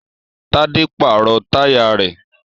Tádé pàrọ̀ táyà rẹ̀